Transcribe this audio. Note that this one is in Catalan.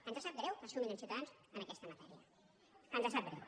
ens sap greu que sumin amb ciutadans en aquesta matèria ens sap greu